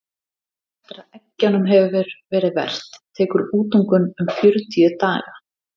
eftir að eggjunum hefur verið verpt tekur útungun um fjörutíu daga